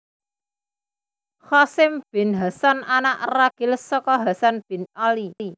Qasim bin Hasan Anak ragil saka Hasan bin Ali